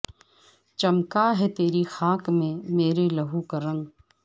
چمکا ہے تیری خاک میں میرے لہو کا رنگ